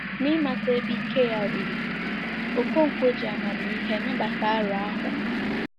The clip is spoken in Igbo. N’ịmata ebe ike ya ruru, Okonkwo ji amamihe nabata aro ahụ.